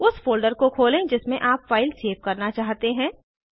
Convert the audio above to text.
उस फोल्डर को खोलें जिसमें आप फाइल सेव करना चाहते हैं